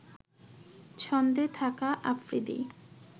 ছন্দে থাকা আফ্রিদি